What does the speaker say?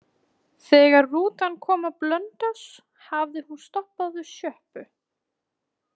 Þegar rútan kom á Blönduós hafði hún stoppað við sjoppu.